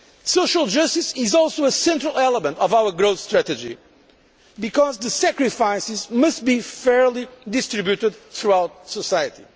Social justice is also a central element of our growth strategy because the sacrifices must be fairly distributed throughout society.